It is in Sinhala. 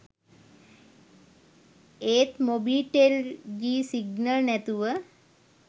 ඒත් මොබිටෙල් ජී සිග්නල් නැතුව